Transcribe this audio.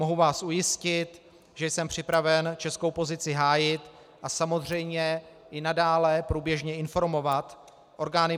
Mohu vás ujistit, že jsem připraven českou pozici hájit a samozřejmě i nadále průběžně informovat orgány